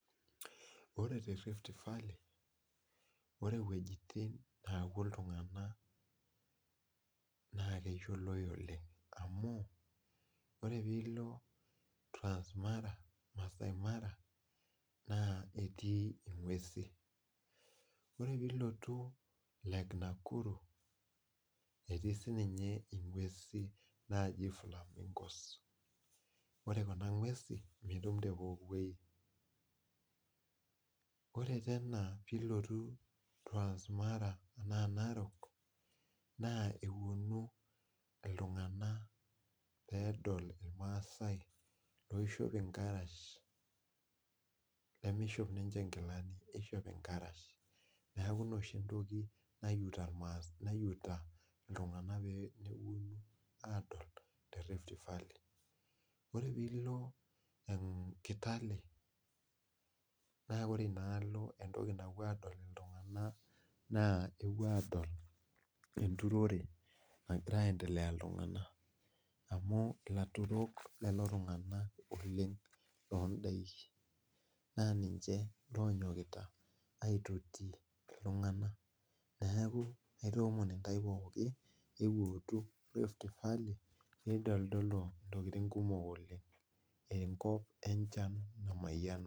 Ore rift valley ore wuejitin neepuo iltunganak naa kishilowa oleng. amu ore pee ilo transmara, naa etii inguesin more pee ilotu lake Nakuru, etii sii ninye nguesin naaji flamingos .pre Kuna nguesin mitum te pooki wueji ore pee ilotu transmara naa narok naa epuonu iltunganak pee edol ilmaasae loishopito, irkarash nemishop ninche nkilani. nishop illkarash. neeku ina pee epuonu iltunganak aadol, te rift valley. orw pee ilo kitale. naa ore Ina alk entoki napuo, adol iltunganak naa epuo aadol enturore nagirae aendelea iltunganak amu ilaturol lelo tunganak oleng, loobaiki naa ninye loonyokita aitusutie iltunganak neeku aitaoomno intaw pooki ootu rift valley entodol ntokitin kumok oleng.